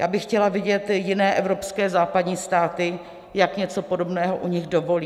Já bych chtěla vidět jiné evropské, západní státy, jak něco podobného u nich dovolí.